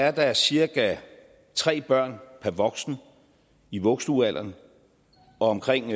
at der cirka er tre børn per voksen i vuggestuealderen og omkring